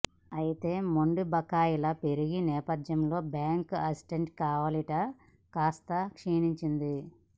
అయితే మొండి బకాయిల పెరిగిన నేపధ్యంలో బ్యాంక్ అసెట్ క్వాలిటీ కాస్త క్షీణించింది